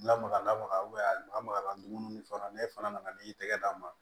Lamaga lamaga a lamaga dumuni fana n'e fana nana n'i y'i tɛgɛ d'a ma